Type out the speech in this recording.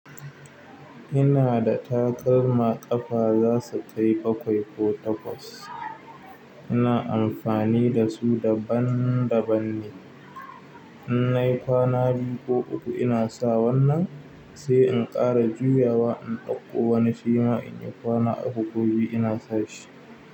Ina da takalma ƙafa za su kai bakwai ko takwas. Ina amfani da su daban daban ne. In nayi kwana biyu ko uku ina sa wannan, sai in ƙara juyawa in ɗauko wani shima inyi kwana uku ko biyu ina sa shi.